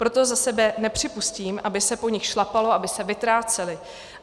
Proto za sebe nepřipustím, aby se po nich šlapalo, aby se vytrácely.